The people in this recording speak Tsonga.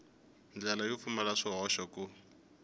ndlela yo pfumala swihoxo ku